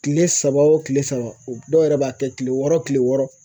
Kile saba o kile saba o dɔw yɛrɛ b'a kɛ kile wɔɔrɔ kile wɔɔrɔ.